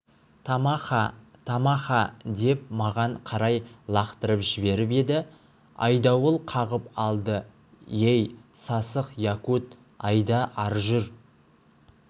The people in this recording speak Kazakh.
тамаха-тама-ха деп маған қарай лақтырып жіберіп еді айдауыл қағып алды ей сасық якут айда ары жүр